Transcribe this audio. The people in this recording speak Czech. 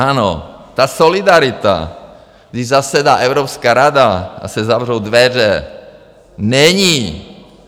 Ano, ta solidarita, když zasedá Evropská rada a se zavřou dveře, není.